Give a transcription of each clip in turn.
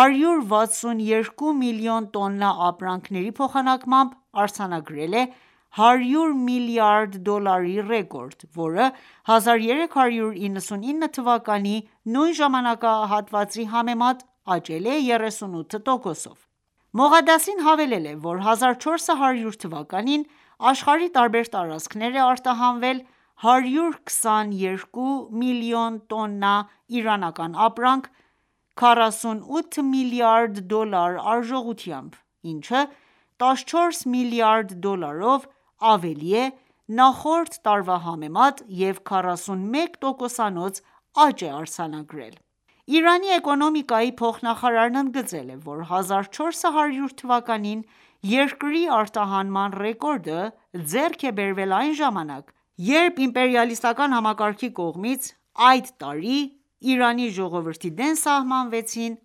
,162 միլիոն տոննա ապրանքների փոխանակմամբ արձանագրել է 100 միլիարդ դոլարի ռեկորդ, որը 1399 թվականի նույն ժամանակահատվածի համեմատ աճել է 38 տոկոսով»։ Մողադասին հավելել է, որ 1400 թվականին աշխարհի տարբեր տարածքներ է արտահանվել 122 մլն տոննա իրանական ապրանք՝ 48 մլրդ դոլար արժողությմաբ, ինչը՝ 14 մլրդ դոլարով ավելի է նախորդ տարվա համեմատ և 41 տոկոսանոց աճ է արձանագրել: Իրանի էկոնոմիկայի փոխնախարարն ընդգծել է, որ 1400 թվականին երկրի արտահանման ռեկորդը ձեռք է բերվել այն ժամանակ, երբ իմպերիալիստական համակարգի կողմից այդ տարի Իրանի ժողովրդի դեմ սահմանվեցին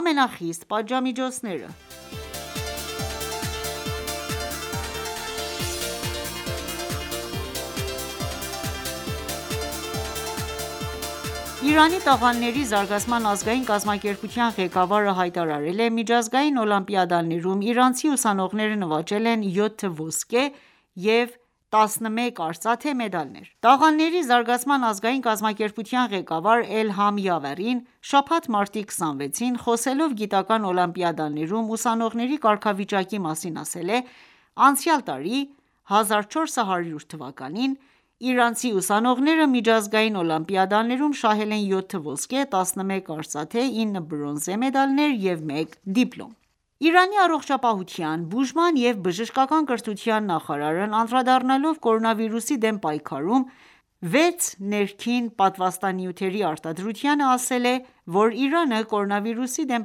ամենախիստ պատժամիջոցները: Իրանի տաղանդների զարգացման ազգային կազմակերպության ղեկավարը հայտարարել է.«Միջազգային օլիմպիադաներում իրանցի ուսանողները նվաճել են 7 ոսկե և 11 արծաթե մեդալներ»: Տաղանդների զարգացման ազգային կազմակերպության ղեկավար Էլհամ Յավարին շաբաթ ,մարտի 26-ին, խոսելով գիտական օլիմպիադաներում ուսանողների կարգավիճակի մասին ասել է.«Անցյալ տարի ՝1400թվականին, իրանցի ուսանողները միջազգային օլիմպիադաներում շահել են յոթ ոսկե, 11 արծաթե, ինը բրոնզե մեդալներ և մեկ դիպլոմ»: Իրանի առողջապահության, բուժման և բժշկական կրթության նախարարն անդրադառնալով կորոնավիրուսի դեմ պայքարում 6 ներքին պատվաստանյութերի արտադրությանը, ասել է, որ Իրանը, կորոնավիրուսի դեմ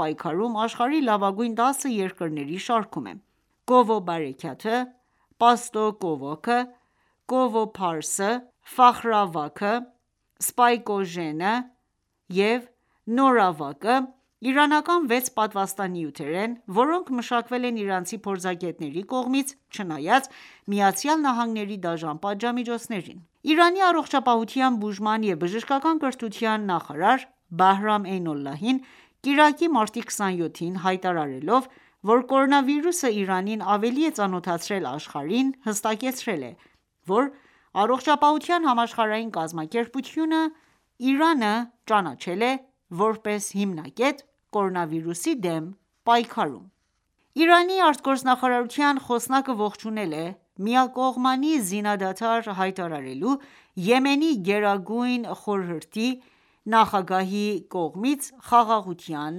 պայքարում աշխարհի լավագույն 10 երկրների շարքում է: Քովո բարաքաթը, Պաստո քովակը, Քովո Փարսը, Ֆախրավակը, Սպայկոժենը, Նորավակը, իրանական վեց պատվաստանյութեր են, որոնք մշակվել են իրանցի փորձագետների կողմից՝ չնայած ԱՄՆ-ի դաժան պատժամիջոցներին։ Իրանի առողջապահության, բուժման և բժշկական կրթության նախարար Բահրամ Էյնոլլահին կիրակի, մարտի 27-ին, հայտարարելով, որ կորոնավիրուսը Իրանին ավելի է ծանոթացրել աշխարհին, հստակեցրել է, որ Առողջապահության համաշխարհային կազմակերպությունը Իրանը ճանաչել է, որպես հիմնակետ՝կորոնավիրուսի դեմ պայքարում։ Իրանի արտգործնախարարության խոսնակը ողջունել է միակողմանի զինադադար հայտարարելու Եմենի Գերագույն խորհրդի նախագահի կողմից խաղաղության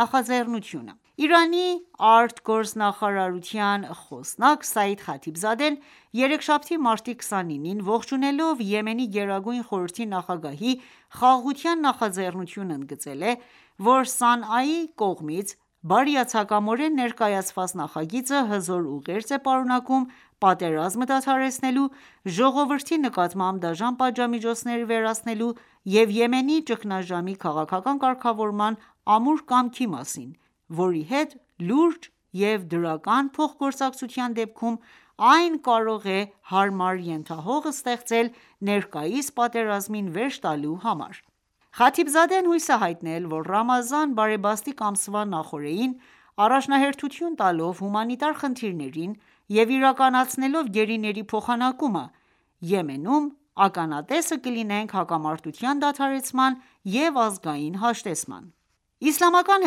նախաձեռնությունը։ Իրանի արտգործնախարարության խոսնակ Սաիդ Խաթիբզադեն ,երեքշաբթի մարտի 29-ին ողջունելով Եմենի գերագույն խորհրդի նախագահի խաղաղության նախաձեռնությունը ,ընդգծել է,որ Սանայի կողմից բարիացակամորեն ներկայացված նախագիծը հզոր ուղերձ է պարունակում ՝պատերազմը դադարեցնելու, ժողովրդի նկատմամբ դաժան պատժամիջոցները վերացնելու և Եմենի ճգնաժամի քաղաքական կարգավորման ամուր կամքի մասին ,որի հետ լուրջ ու դրական փոխգործակցության դեպքում այն ​​կարող է հարմար ենթահող ստեղծել ներկայիս պատերազմին վերջ տալու համար։ Խաթիբզադեն հույս է հայտնել ,որ Ռամազան բարեբաստիկ ամսվա նախօրեին, առաջնահերթություն տալով հումանիտար խնդիրներին և իրականացնելով գերիների փոխանակումը, Եմենում ականատեսը կլինենք հակամարտության դադարեցման և ազգային հաշտեցման։ Իսլամական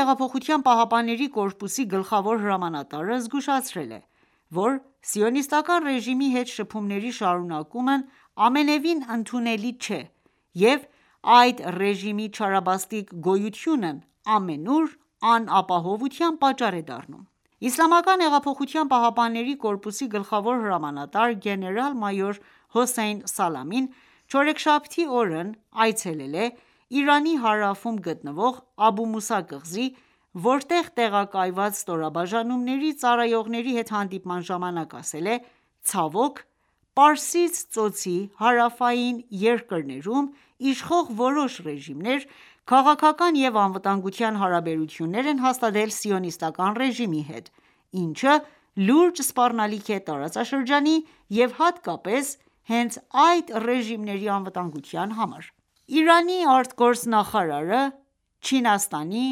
հեղափոխության պահապանների կորպուսի գլխավոր հրամանատարը զգուշացրել է, որ Սիոնիստական ​​ռեժիմի հետ շփումների շարունակումն ամենևին ընդունելի չէ, և այդ ռեժիմի չարաբաստիկ գոյությունն ամենուր անապահովության պատճառ է դառնում։ Իսլամական հեղափոխության պահապանների կորպուսի գլխավոր հրամանատար գեներալ-մայոր Հոսեյն Սալամին չորեքշաբթի օրն այցելել է Իրանի հարավում գտնվող Աբու Մուսա կղզի, որտեղ տեղակայված ստորաբաժանումների ծառայողների հետ հանդիպման ժամանակ, ասել է.«Ցավոք, Պարսից ծոցի հարավային երկրներում իշխող որոշ ռեժիմներ քաղաքական և անվտանգության հարաբերություններ են հաստատել Սիոնիստական ​​ռեժիմի հետ, ինչը լուրջ սպառնալիք է տարածաշրջանի և հատկապես հենց այդ ռեժիմների անվտանգության համար»: Իրանի ԱԳ նախարարը ,Չինաստանի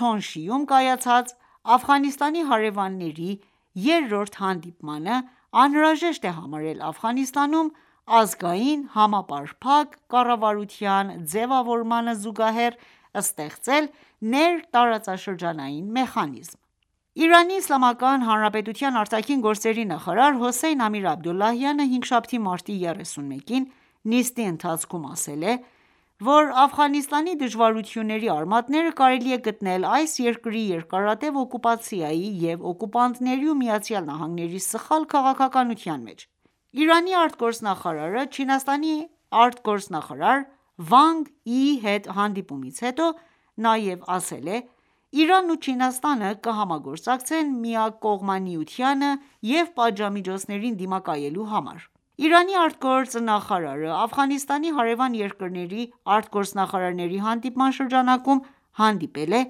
Թոնշիում կայացած Աֆղանստանի հարեւանների երրորդ հանդիպմանը անհրաժեշտ է համարել Աֆղանստանում ազգային համապարփակ կառավարության ձևավորմանը զուգահեռ ստեղծել ներտարածաշրջանային մեխանիզմ։ Իրանի Իսլամական Հանրապետության արտաքին գործերի նախարար Հոսեյն Ամիր-Աբդոլլահյանը հինգշաբթի, մարտի 31-ին նիստի ընթացքում ասել է,որ Աֆղանստանի դժվարությունների արմատները կարելի է գտնել այս երկրի երկարատև օկուպացիայի և օկուպանտների ու ԱՄՆ-ի սխալ քաղաքականության մեջ: Իրանի արտգործնախարարը Չինաստանի արտգործնախարար Վանգ Յիի հետ հանդիպումից հետո նաեւ ասել է.«Իրանն ու Չինաստանը կհամագործակցեն միակողմանիությանը և պատժամիջոցներին դիմակայելու համար»: Իրանի ԱԳ նախարարը Աֆղանստանի հարևան երկրների արտգործնախարարների հանդիպման շրջանակում հանդիպել է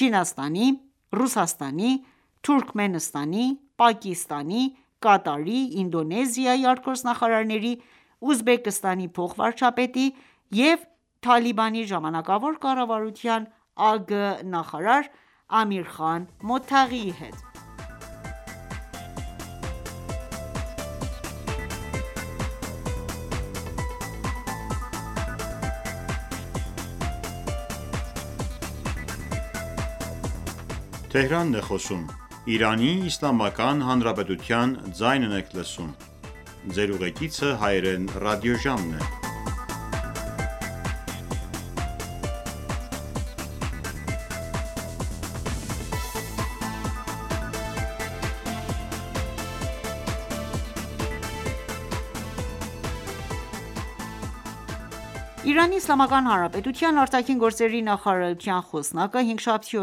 Չինաստանի, Ռուսաստանի, Թուրքմենստանի, Պակիստանի, Կատարի, Ինդոնեզիայի արտգործնախարարների, Ուզբեկստանի փոխվարչապետի և Թալիբանի ժամանակավոր կառավարության ԱԳ նախարար Ամիր Խան Մոթաղիի հետ։ Իրանի Իսլամական Հանրապետության արտաքին գործերի նախարարության խոսնակը հինգշաբթի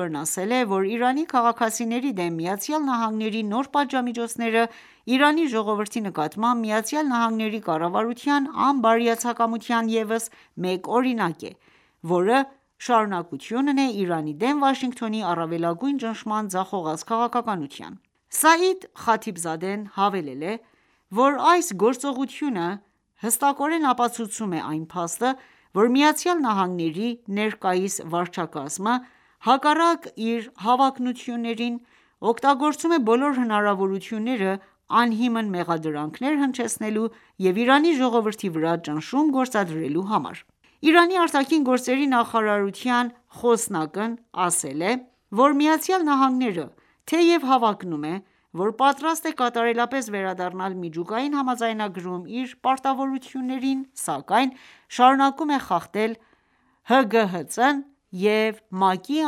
օրն ասել է,որ Իրանի քաղաքացիների դեմ ԱՄՆ-ի նոր պատժամիջոցները Իրանի ժողովրդի նկատմամբ ԱՄՆ-ի կառավարության անբարիացակամության ևս մեկ օրինակն է, որը շարունակությունն է ՝Իրանի դեմ Վաշինգտոնի առավելագույն ճնշման ձախողած քաղաքականության: Սաիդ Խաթիբզադեն հավելել է, որ այս գործողությունը հստակորեն ապացուցում է այն փաստը, որ ԱՄՆ-ի ներկայիս վարչակազմը, հակառակ իր հավակնություններին, օգտագործում է բոլոր հնարավորությունները՝ անհիմն մեղադրանքներ հնչեցնելու և Իրանի ժողովրդի վրա ճնշում գործադրելու համար։ Իրանի արտաքին գործերի նախարարության խոսնակն ասել է,որ ԱՄՆ-ը թեև հավակնում ,որ պատրաստ է կատարելապես վերադառնալ միջուկային համաձայնագրում իր պարտավորություններին ,սակայն շարունակում է խախտել ՀԳՀԾ-ն և ՄԱԿ-ի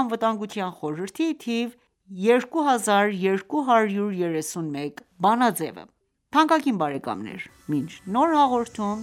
Անվտանգության խորհրդի թիվ 2231 բանաձևը: Թանկագին բարեկամներ մինչ նոր հաղորդում